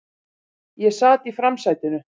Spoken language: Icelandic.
Ég sat í framsætinu.